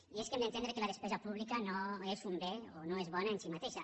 i és que hem d’entendre que la despesa pública no és un bé o no és bona en si mateixa